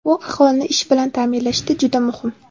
Bu aholini ish bilan ta’minlashda juda muhim.